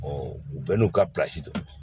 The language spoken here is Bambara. u bɛɛ n'u ka don